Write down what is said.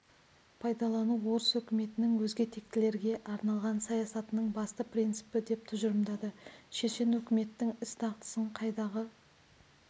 пайдалану орыс өкіметінің өзге тектілерге арналған саясатының басты принципі деп тұжырды шешен өкіметтің іс-дағдысын қайдағы